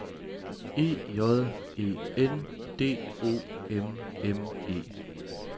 E J E N D O M M E